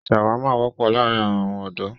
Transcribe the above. ṣàwámà wọ́pọ̀ láàrín àwọn ọ̀dọ̀.